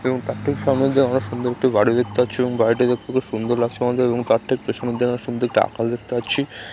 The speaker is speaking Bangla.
এবং তার ঠিক সামনের দিকে আমরা সুন্দর বাড়ি দেখতে পাচ্ছি এবং বাড়িটি দেখতে খুব সুন্দর লাগছে আমাদের | এবং তার ঠিক পেছনের দিকে আমরা সুন্দর একটি আকাশ দেখতে পাচ্ছি |